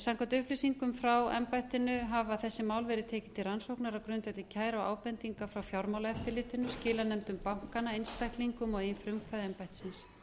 samkvæmt upplýsingum frá embættinu hafa þessi mál verið tekin til rannsóknar á grundvelli kæru og ábendinga frá fjármálaeftirlitinu skilanefndum bankanna einstaklingum og eigin frumkvæði embættisins